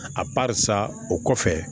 A barisa o kɔfɛ